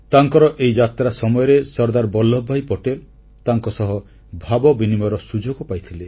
ତାଙ୍କର ଏହି ଯାତ୍ରା ସମୟରେ ସର୍ଦ୍ଦାର ବଲ୍ଲଭ ଭାଇ ପଟେଲ ତାଙ୍କସହ ଭାବବିନିମୟର ସୁଯୋଗ ପାଇଥିଲେ